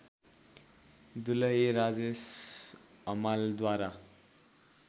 दुलही राजेश हमालद्वारा